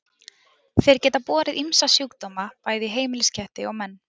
Þeir geta borið ýmsa sjúkdóma bæði í heimilisketti og menn.